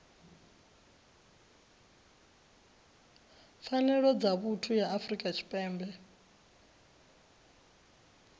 pfanelo dza vhuthu ya afrika tshipembe